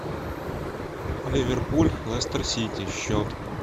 ливерпуль лестер сити счет